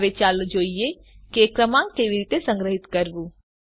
હવે ચાલો જોઈએ કે ક્રમાંકને કેવી રીતે સંગ્રહીત કરવું